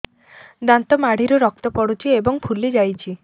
ଦାନ୍ତ ମାଢ଼ିରୁ ରକ୍ତ ପଡୁଛୁ ଏବଂ ଫୁଲି ଯାଇଛି